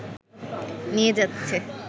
নিয়ে যাচ্ছে